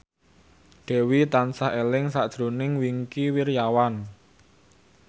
Dewi tansah eling sakjroning Wingky Wiryawan